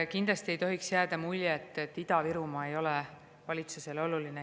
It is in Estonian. Kindlasti ei tohiks jääda muljet, et Ida-Virumaa ei ole valitsusele oluline.